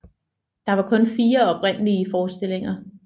Der var kun fire oprindelige forestillinger